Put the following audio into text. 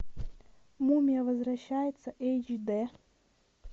мумия возвращается эйч д